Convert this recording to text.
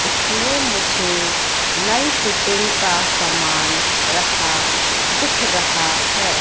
इसमें मुझे नल फिटिंग का सामान रखा दिख रहा है।